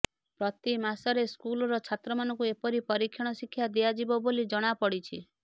ପ୍ରତି ମାସରେ ସ୍କୁଲର ଛାତ୍ରମାନଙ୍କୁ ଏପରି ପରୀକ୍ଷଣ ଶିକ୍ଷା ଦିଆଯିବ ବୋଲି ଜଣାପଡିଛି